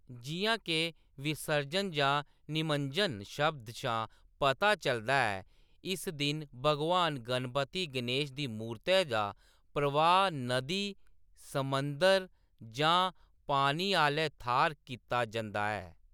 जिʼयां के 'विसर्जन' जां 'निमज्जनम्' शब्द शा पता चलदा ऐ, इस दिन भगवान गणपति गनेश दी मूरतै दा प्रवाह्‌‌ नदी, समुंदर जां पानी आह्‌ले थाह्‌र कीता जंदा ऐ।